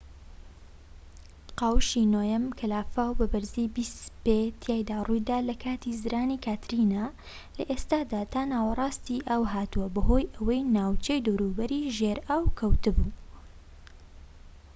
قاوشی نۆیەم کە لافاو بە بەرزی 20 پێ تیایدا ڕوویدا لە کاتی زرانی کاترینا لە ئێستادا تا ناوەڕاستی ئاو هاتووە بەهۆی ئەوەی ناوچەی دەوروبەری ژێر ئاو کەوت بوو